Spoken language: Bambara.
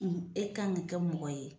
e k'an ka kɛ mɔgɔ ye.